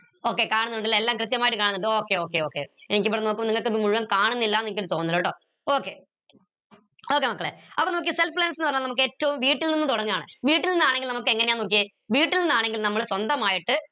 okay കാണുന്നുണ്ട് ല്ലേ എല്ലാം കൃത്യമായിട്ട് കാണുന്നുണ്ട് okay okay okay എനിക്കിവിടുന്ന് നോക്കുമ്പോ നിങ്ങക്ക് ഇത് മുഴുവൻ കാണുന്നില്ല ന്ന് എനിക്കൊരു തോന്നൽ ട്ടോ okay okay മക്കളെ അപ്പൊ നമക്ക് self ന്ന് പറഞ്ഞ നമുക്ക് ഏറ്റവും വീട്ടിൽ നിന്ന് തൊടങ്ങാണ് വീട്ടിൽ നിന്നാണെങ്കിൽ നമുക്ക് എങ്ങനെയാ നോക്കിയേ വീട്ടി നിന്നാണെങ്കിൽ നമ്മൾ സ്വന്തായിട്ട്